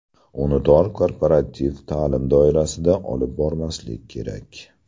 Uni tor korporativ ta’lim doirasida olib bormaslik kerak.